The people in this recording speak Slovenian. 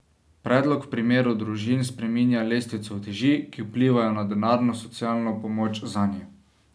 Predlog v primeru družin spreminja lestvico uteži, ki vplivajo na denarno socialno pomoč zanje.